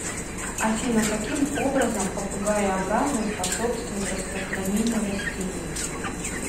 афина каким образом попугаеобразные способствуют распространению растений